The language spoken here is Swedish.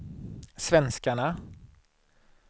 svenskarna